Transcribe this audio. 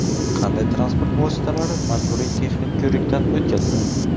Qanday transport vositalari majburiy texnik ko‘rikdan o‘tkaziladi?.